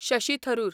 Shashi Tharoor